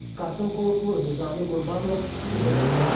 Qasım Xuloflu, Nizami Qurbanov, ITV Xəbər.